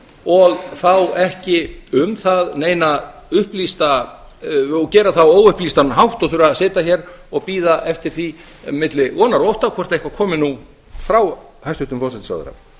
og gera það á óupplýst hátt og þurfa að sitja hér og bíða eftir því milli vonar og ótta hvort eitthvað komi nú frá hæstvirtum forsætisráðherra